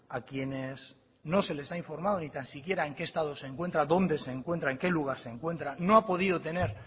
a quienes no se les ha informado ni tan siquiera en qué estado se encuentra dónde se encuentra en qué lugar se encuentra no ha podido tener